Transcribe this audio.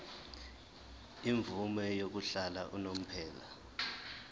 imvume yokuhlala unomphela